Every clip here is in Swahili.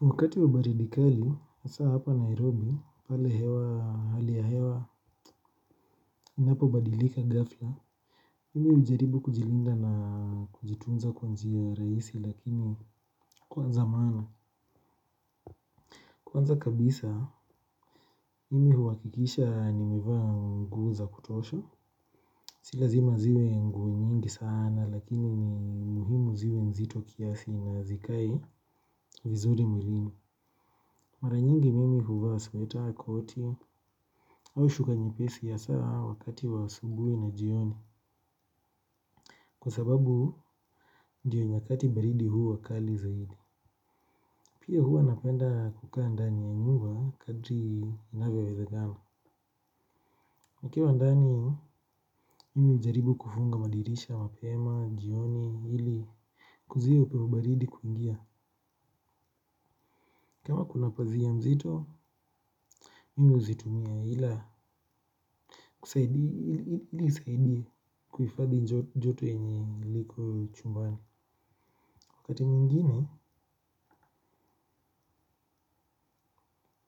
Wakati wa baridi kali, hasa hapa Nairobi, pale hewa hali ya hewa, inapobadilika ghafla. Mimi hujaribu kujilinda na kujitunza kwa njia rahisi lakini kwanza maana kwanza kabisa, mimi huwakikisha nimevaa nguo za kutosha. Si lazima ziwe nguo nyingi sana lakini ni muhimu ziwe nzito kiasi na zikae vizuri mwilini. Mara nyingi mimi huvaa sweta koti au shuka nyepesi haswa wakati wa asubuhi na jioni. Kwa sababu ndiyo nyakati baridi huwa kali zaidi. Pia huwa napenda kukaa ndani ya nyumba kadri inavyowezekana. Nikiwa ndani mi hujaribu kufunga madirisha mapema, jioni, ili kuzuia upepo baridi kuingia. Kama kuna pazia nzito, mimi huzitumia ila kusaidia kuhifadhi joto yenye liko chumbani wakati mwingine,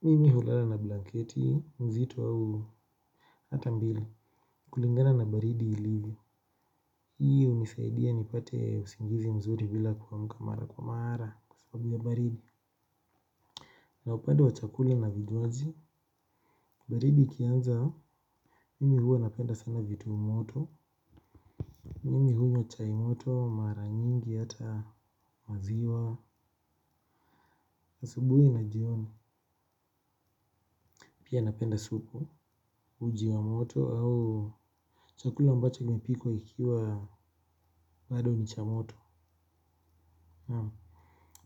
mimi hulala na blanketi, nzito au hata mbili. Kulingana na baridi ilivyo. Hii hunisaidia nipate usingizi mzuri bila kuamka mara kwa mara kwa sababu ya baridi. Na upade wa chakule na vinywaji, baridi ikianza, mimi huwa napenda sana vitu moto mimi hunywa chai moto, mara nyingi, hata maziwa, asubuhi na jioni. Pia napenda supu, uji wa moto au chakula ambacho kimepikwa ikiwa bado ni cha moto. Naam,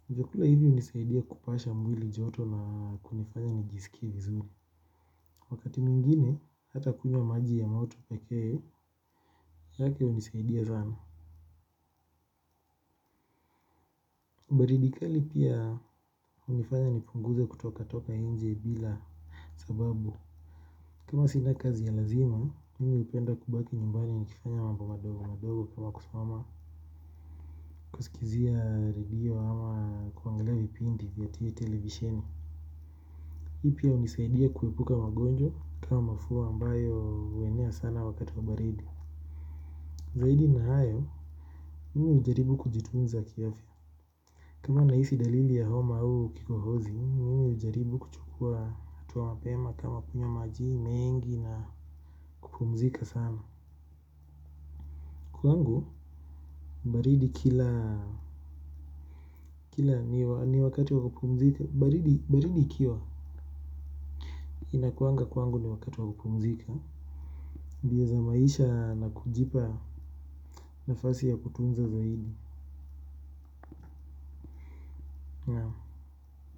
vyakula hivi hunisaidia kupasha mwili joto na kunifanya nijisikie vizuni. Wakati mwingine, hata kunywa maji ya moto pekee, manake hunisaidia sana. Baridi kali pia hunifanya nipunguze kutoka toka nje bila sababu kama sina kazi ya lazima, mimi hupenda kubaki nyumbani nikifanya mambo madogo madogo kama kusimama kizia radio ama kuangala vipindi vya TV televisheni. Hii pia hunisaidia kuepuka magonjwa kama mafua ambayo huenea sana wakati wa baridi. Zaidi na hayo, mimi hujaribu kujitunza kiafya. Kama nahisi dalili ya homa au kikohozi, mimi hujaribu kuchukua hatua mapema kama kunywa majii mengi na kupumzika sana. Kwangu baridi kila ni wakati wa kupumzika. Baridi ikiwa inakuanga kwangu ni wakati wa kupumzika. Bia za maisha na kujipa nafasi ya kutunza zaidi.